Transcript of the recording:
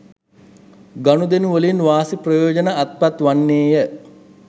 ගණුදෙනු වලින් වාසි ප්‍රයෝජන අත්පත් වන්නේය.